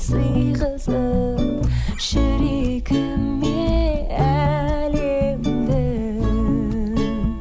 сыйғызып жүрегіме әлемді